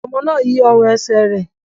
Ọmọ náà yí ọrùn ẹsẹ̀ rẹ̀.